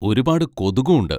ഒരുപാട് കൊതുകും ഉണ്ട്.